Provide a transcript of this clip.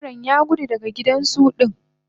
zebiran Yagudu daga gidan zu din